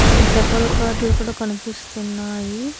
అక్కడ double cot లు కూడా కనిపిస్తున్నాయి.